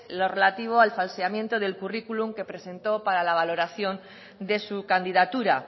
lo relativo al falseamiento del currículum que presentó para la valoración de su candidatura